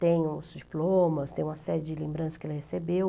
Tem os diplomas, tem uma série de lembranças que ele recebeu.